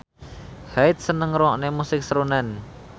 Hyde seneng ngrungokne musik srunen